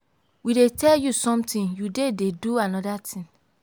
we dey tell you something you dey dey do another thing.